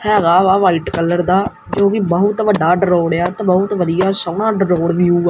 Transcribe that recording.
ਹੈਗਾ ਵਾ white colour ਦਾ ਤੇ ਉਹ ਵੀ ਬਹੁਤ ਵੱਡਾ ਰੋਡ ਆ ਤੇ ਬਹੁਤ ਵਧੀਆ ਸੋਹਣਾ ਰੋਡ ਵਿਊ --